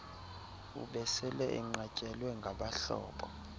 ubesele enqatyelwe ngabahlobo